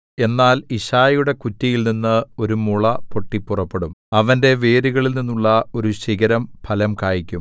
എന്നാൽ യിശ്ശായിയുടെ കുറ്റിയിൽനിന്ന് ഒരു മുള പൊട്ടി പുറപ്പെടും അവന്റെ വേരുകളിൽനിന്നുള്ള ഒരു ശിഖരം ഫലം കായിക്കും